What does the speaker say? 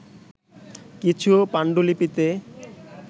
কিছু পান্ডুলিপিতে